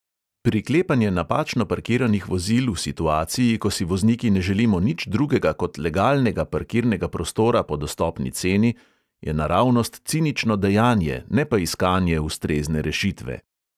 Priklepanje napačno parkiranih vozil v situaciji, ko si vozniki ne želimo nič drugega kot legalnega parkirnega prostora po dostopni ceni, je naravnost cinično dejanje, ne pa iskanje ustrezne rešitve.